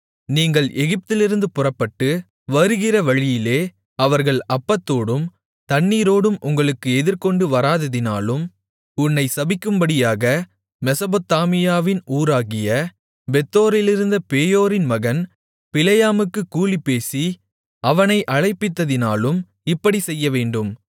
நீங்கள் எகிப்திலிருந்து புறப்பட்டு வருகிற வழியிலே அவர்கள் அப்பத்தோடும் தண்ணீரோடும் உங்களுக்கு எதிர்கொண்டு வராததினாலும் உன்னை சபிக்கும்படியாக மெசொப்பொத்தாமியாவின் ஊராகிய பேத்தோரிலிருந்த பேயோரின் மகன் பிலேயாமுக்குக் கூலி பேசி அவனை அழைப்பித்ததினாலும் இப்படிச் செய்யவேண்டும்